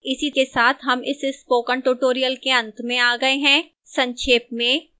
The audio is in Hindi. इसी के साथ हम इस स्पोकन tutorial के अंत में आ गए हैं संक्षेप में